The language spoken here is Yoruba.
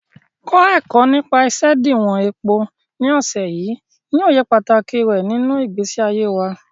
Kọ́ ẹ̀kọ́ nípa isediwon epo ní ọ̀sẹ̀ yìí, ní òye pàtàkì rẹ̀ nínú ìgbésí ayé wa.